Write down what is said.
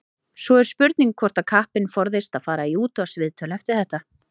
Svo er spurning hvort að kappinn forðist að fara í útvarpsviðtöl eftir þetta.